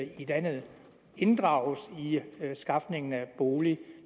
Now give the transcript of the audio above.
i landet inddrages i skafningen af bolig